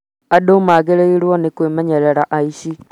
andũ magĩrĩirwo nĩ kwĩmenyerera aici